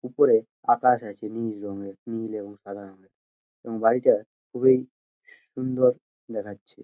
ওপরে আকাশ আছে নীল রঙের নীল এবং সাদা এবং বাড়িটা খুবই সুন্দর দেখাচ্ছে।